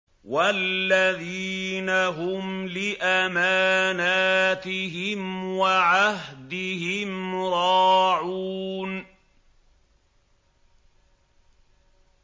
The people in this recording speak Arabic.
وَالَّذِينَ هُمْ لِأَمَانَاتِهِمْ وَعَهْدِهِمْ رَاعُونَ